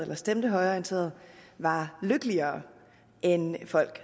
der stemte højreorienteret var lykkeligere end folk